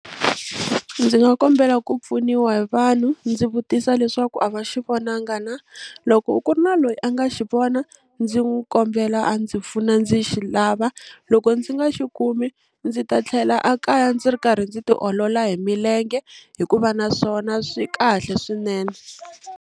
Ndzi nga kombela ku pfuniwa hi vanhu ndzi vutisa leswaku a va xi vonanga na loko ku ri na loyi a nga xi vona ndzi n'wi kombela a ndzi pfuna ndzi xi lava loko ndzi nga xi kumi ndzi ta tlhela a kaya ndzi ri karhi ndzi ti olola hi milenge hikuva naswona swi kahle swinene.